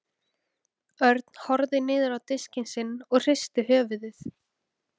Örn horfði niður á diskinn sinn og hristi höfuðið.